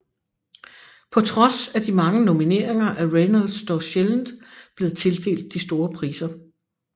På trods af de mange nomineringer er Reynolds dog sjældent blevet tildelt de store priser